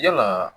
Yala